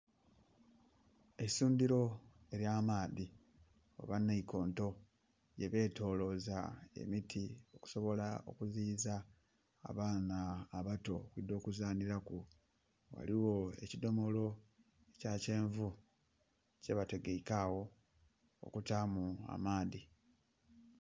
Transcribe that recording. Eisundhiro elya maadhi oba nhaikonto gye betolloza emiti okusobola okuziyiza abaana abato okwidha okuzanhilaku, ghaligho ekidhomolo ekya kyenvu kye bategeike agho okutaamu amaadhi